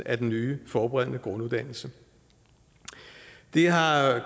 af den nye forberedende grunduddannelse det har